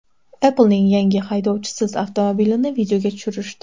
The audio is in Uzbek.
Apple’ning yangi haydovchisiz avtomobilini videoga tushirishdi .